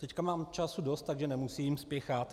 Teď mám času dost, takže nemusím spěchat.